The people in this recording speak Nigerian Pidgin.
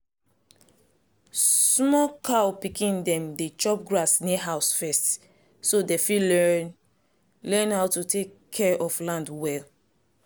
small cow pikin dem dey chop grass near house first so dem fit learn learn how to tek care of land well.